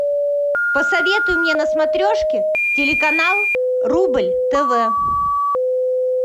посоветуй мне на смотрешке телеканал рубль тв